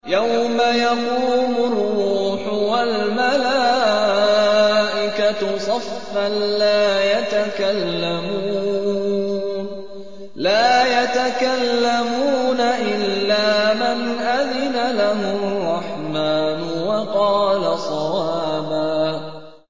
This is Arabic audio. يَوْمَ يَقُومُ الرُّوحُ وَالْمَلَائِكَةُ صَفًّا ۖ لَّا يَتَكَلَّمُونَ إِلَّا مَنْ أَذِنَ لَهُ الرَّحْمَٰنُ وَقَالَ صَوَابًا